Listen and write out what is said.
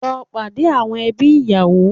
Lọ pàdé àwọn ẹbí ìyàwó